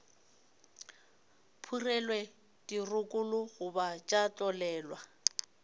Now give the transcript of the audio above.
phurelwe dirokolo goba tša tlolelwa